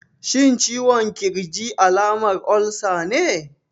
Shin ciwon ƙirji alamar olsa ne?